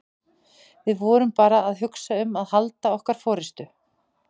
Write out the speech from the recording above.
Við vorum bara að hugsa um að halda okkar forystu.